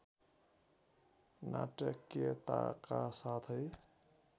नाटकीयताका साथै